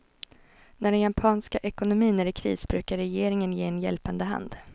När den japanska ekonomin är i kris brukar regeringen ge en hjälpande hand.